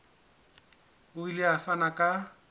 o ile a fana ka